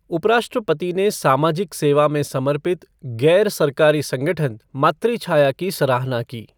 उपराष्ट्रपति ने सामाजिक सेवा में समर्पित गैर सरकारी संगठन मातृछाया की सराहना की।